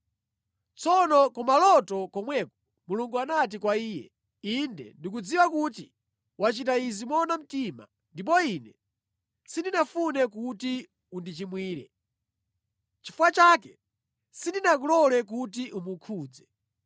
Tsono kumaloto komweko Mulungu anati kwa iye, “Inde ndikudziwa kuti wachita izi moona mtima, ndipo Ine sindinafune kuti undichimwire. Nʼchifukwa chake sindinakulole kuti umukhudze.